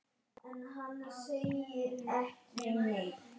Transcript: Það verður söngur og spil.